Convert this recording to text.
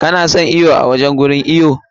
Ka na son iwo a cikin wajen iwo?